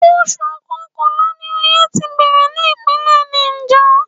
Oṣù Kọkànlá ni oye ti bẹ̀rẹ̀ ní Ìpínlẹ̀ Niger.